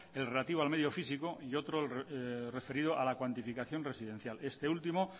el relativo al medio físico y otro referido a la cuantificación residencial este último